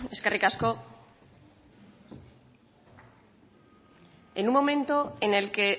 eskerrik asko en un momento en el que